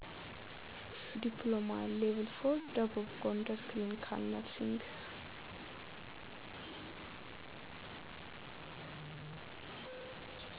ድኘሎማ (level 4) ደቡብ ጎንደር ክሊኒካል ነርሲንግ